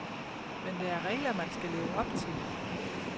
Men der er regler, man skal leve op til.